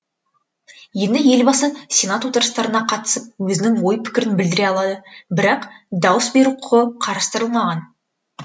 енді елбасы сенат отырыстарына қатысып өзінің ой пікірін білдіре алады бірақ дауыс беру құқы қарастырылмаған